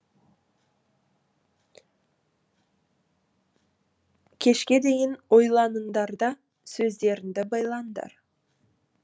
кешке дейін ойланыңдар да сөздеріңді байлаңдар